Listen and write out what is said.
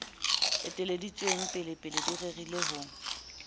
eteleditsweng pelepele di rerile ho